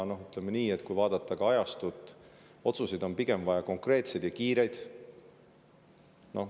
Kui vaadata ajastut, siis otsuseid on pigem vaja konkreetseid ja kiireid.